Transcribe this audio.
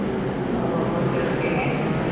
O okay okay